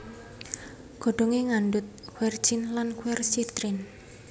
Godhongé ngandhut quercetin lan quercitrin